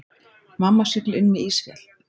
Mamma siglir inn með ísfjall.